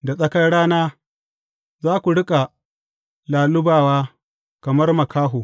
Da tsakar rana za ku riƙa lallubawa kamar makaho.